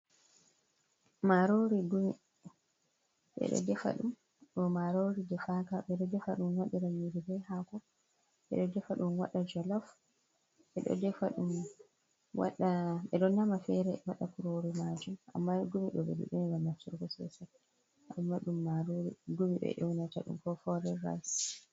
Marorigumi ɓe ɗo defa ɗum ɗo marori de faka ɓe ɗo defa ɗum waɗa nyiri be hako naftiira be hako eɗo defa ɗum waɗa jolaf eɗo nama fere e waɗa kurori majum amma gumi ɓe ɗuɗai nafturgo sosai amma ɗum marori gumi ɓe ewnata ɗum ko forin rayis.